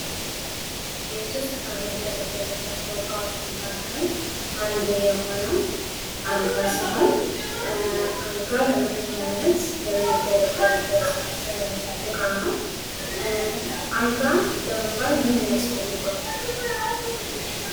ቤት ውስጥ ከምንገልገልባቸው ዕቃዎች መካከል አንዱ የሆነው አልጋ ሲሆን አልጋ ለመተኛነት የምንገለግልበት እቃ ነው ። አልጋ ለመባል ምን ያስፈልገዋል ?